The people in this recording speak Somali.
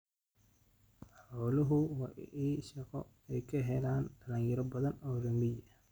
Xooluhu waa il shaqo oo ay ka helaan dhalinyaro badan oo reer miyi ah.